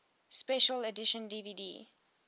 special edition dvd